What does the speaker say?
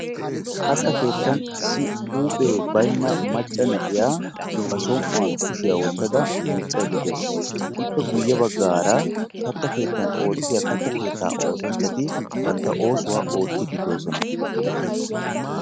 Katta keettan issi huuphee baynna macca na'iya ba som"uwan kushiya wottada miiccaydda de'awusu. Ippe guyye baggaara katta keettan oottiya katta keettaa oosanchchati bantta oosuwa oottiddi doosona.